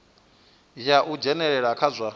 ya u dzhenelela kha zwa